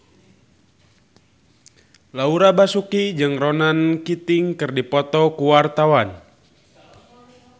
Laura Basuki jeung Ronan Keating keur dipoto ku wartawan